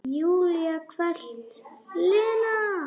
Júlía hvellt: Lena!